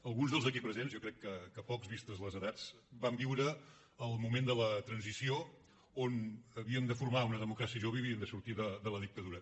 alguns dels aquí presents jo crec que pocs vistes les edats vam viure el moment de la transició on havíem de formar una democràcia jove i havíem de sortir de la dictadura